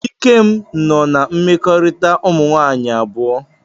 Ikem nọ na mmekorita umunwaanyi abuo.